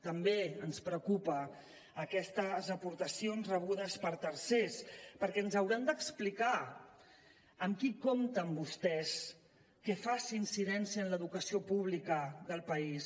també ens preocupen aquestes aportacions rebudes per tercers perquè ens hauran d’explicar qui compten vostès que faci incidència en l’educació pública del país